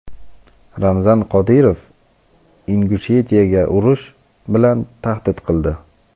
Ramzan Qodirov Ingushetiyaga urush bilan tahdid qildi.